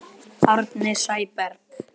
Árni Sæberg